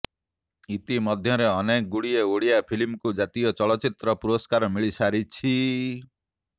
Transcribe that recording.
ଇତି ମଧ୍ୟରେ ଅନେକ ଗୁଡ଼ିଏ ଓଡ଼ିଆ ଫିଲ୍ମକୁ ଜାତୀୟ ଚଳଚ୍ଚିତ୍ର ପୁରସ୍କାର ମିଳି ସାରିଛି